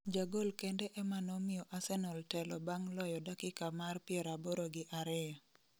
ja gol kende ema nomiyo Arsenal telo bang' loyo dakika mar 82